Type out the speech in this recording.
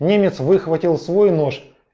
немец выхватил свой нож